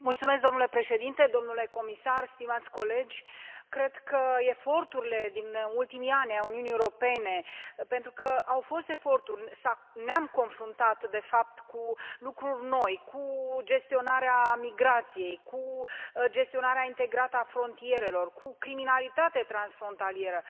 Domnule președinte, domnule comisar, stimați colegi, cred că eforturile din ultimii ani ai Uniunii Europene pentru că au fost eforturi ne am confruntat de fapt cu lucruri noi, cu gestionarea migrației, cu gestionarea integrată a frontierelor, cu criminalitate transfrontalieră.